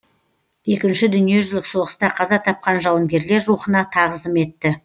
екінші дүниежүзілік соғыста қаза тапқан жауынгерлер рухына тағзым етті